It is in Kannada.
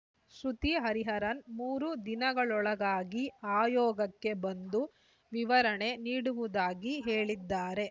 ಶ್ರುತಿ ಹರಿಹರನ್‌ ಮೂರು ದಿನಗಳೊಳಗಾಗಿ ಆಯೋಗಕ್ಕೆ ಬಂದು ವಿವರಣೆ ನೀಡುವುದಾಗಿ ಹೇಳಿದ್ದಾರೆ